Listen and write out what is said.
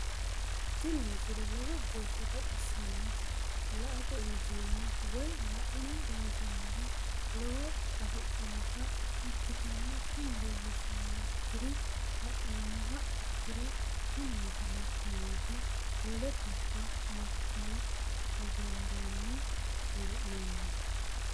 tini misile lowo geeshsha baxissannote la"ate injiitanno woy la'ne ronsannire lowote afidhinota ikkitanna tini leellishshannonkeri la'nummoha ikkiro tini misile nootta wole gobba makiinaho hogonbanni hee'noonni.